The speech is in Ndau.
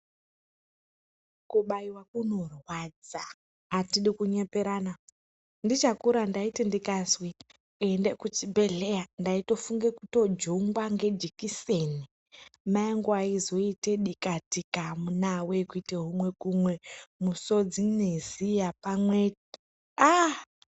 Kubaiwa kunorwadza atidi kunyeperana ndichakura ndaiti ndikazwi ende kuchibhedhleya ndaitofunge kutojungwa ngejikiseni mayangu aizoite dika tika amuna wee kuite humwe kumwe musodzi neziya pamwe aaaa.